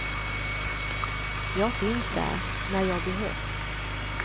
Jag finns där när jag behövs.